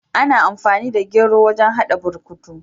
Ana amfani da gero wajen hada burkutu.